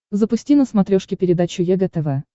запусти на смотрешке передачу егэ тв